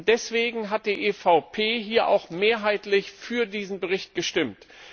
Deswegen hat die EVP hier auch mehrheitlich für diesen Bericht gestimmt.